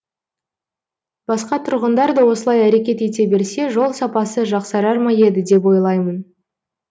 басқа тұрғындар да осылай әрекет ете берсе жол сапасы жақсарар ма еді деп ойлаймын